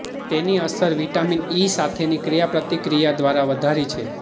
તેની અસર vitamin E સાથેની ક્રિયાપ્રતિક્રિયા દ્વારા વધારી છે